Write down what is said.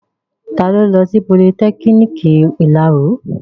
Ta ló lọ sí politẹ́kiniki ìláro?